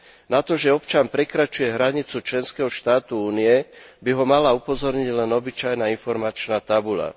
Na to, že občan prekračuje hranicu členského štátu Únie, by ho mala upozorniť len obyčajná informačná tabuľa.